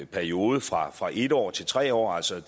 periode fra fra en år til tre år altså i